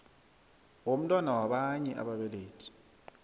womntwana wabanye ababelethi